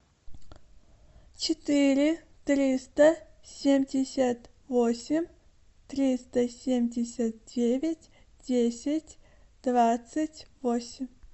четыре триста семьдесят восемь триста семьдесят девять десять двадцать восемь